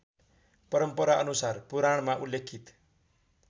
परम्पराअनुसार पुराणमा उल्लेखित